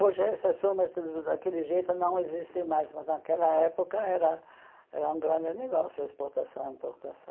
Hoje essas firmas da daquele jeito não existem mais, mas naquela época era era um grande negócio, exportação e importação.